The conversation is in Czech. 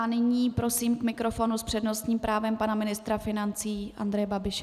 A nyní prosím k mikrofonu s přednostním právem pana ministra financí Andreje Babiše.